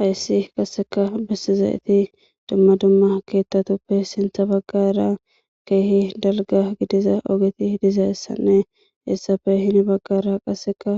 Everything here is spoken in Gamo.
hayssi qasseka bessizayeti dumma dumma keettatuppe sintha baggara keehi dalga gidiza ogeti hidiza issanne essafe hini baggara qasseka